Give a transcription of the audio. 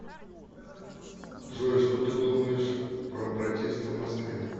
джой что ты думаешь про протесты в москве